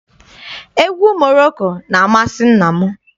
Egwu Moroko na-amasị nna m.